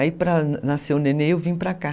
Aí pra nascer o nenê eu vim para cá.